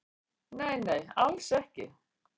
Nei nei, alls ekki